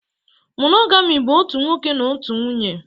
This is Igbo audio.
Monogami bụ otu nwoke na otu nwunye